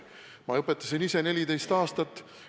Ma õpetasin ise 14 aastat.